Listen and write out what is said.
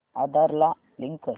आधार ला लिंक कर